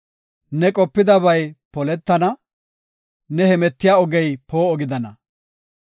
Ne qopidabay poletana; ne hemetiya ogey poo7o gidana.